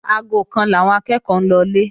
Aago kan làwọn akẹ́ẹ̀kọ́ ń lọlé